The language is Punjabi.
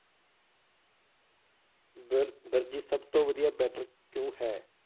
ਦਰ~ ਦਰਜੀ ਸਭ ਤੋ ਵਧੀਆ better ਕਿਉਂ ਹੈ?